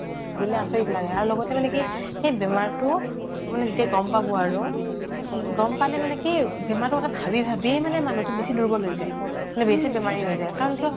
ভাবিলে আচৰিত লাগে আৰু লগতে মানে কি এই বেমাৰটো মানে যেতিয়া গম পাব আৰু গম পালে মানে কি বেমাৰটো ভাবি ভাবিয়ে মানুহ্তো বেছি দূৰ্বল হৈ যায় মানে বেছি বেমাৰী হৈ যায় কাৰণ কিয়